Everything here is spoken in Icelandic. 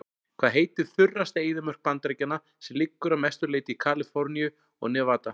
Hvað heitir þurrasta eyðimörk Bandaríkjanna sem liggur að mestu leyti í Kaliforníu og Nevada?